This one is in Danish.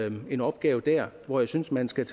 en opgave der hvor jeg synes at man skal